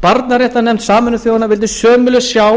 barnaréttarnefnd sameinuðu þjóðanna vildi sömuleiðis sjá